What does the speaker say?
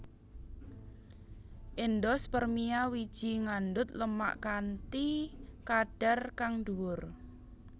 Endospermia wiji ngandhut lemak kanthi kadhar kang dhuwur